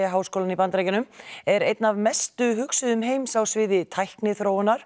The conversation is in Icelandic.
háskólann í Bandaríkjunum er einn af mestu hugsuðum heims á sviði tækniþróunar